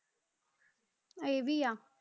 ਇਹ ਵੀ ਆ।